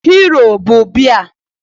Hero bụ biya